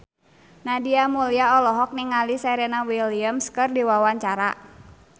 Nadia Mulya olohok ningali Serena Williams keur diwawancara